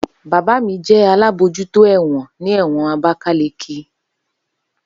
Baba mi jẹ alabojuto ẹ̀wọ̀n ni ẹ̀wọ̀n abakaleki